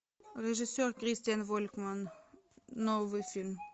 режиссер кристиан волькман новый фильм